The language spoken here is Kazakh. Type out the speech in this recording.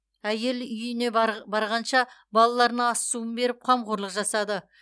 әйел үйіне барғанша балаларына ас суын беріп қамқорлық жасады